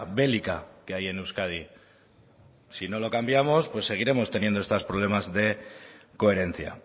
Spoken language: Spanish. bélica que hay en euskadi si no lo cambiamos seguiremos teniendo estos problemas de coherencia